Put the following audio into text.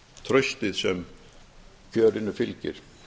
traustið sem kjörinu fylgir